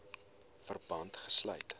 verband gesluit